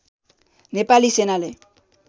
नेपाली सेनाले